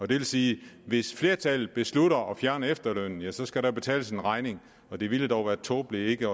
det vil sige at hvis flertallet beslutter at fjerne efterlønnen så skal der betales en regning og det ville dog være tåbeligt ikke